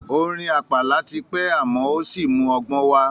Orin àpàlà ti pẹ́ àmọ́ ò sí mú ọgbọ́n wá.